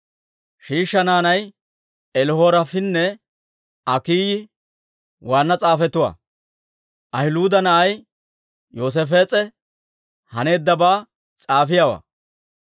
Shiishsha naanay Elihoreefinne Akiiyi waanna s'aafetuwaa; Ahiluuda na'ay Yoosaafees'e haneeddabaa s'aafiyaawaa;